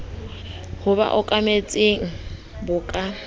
ho ba okametseng bo ka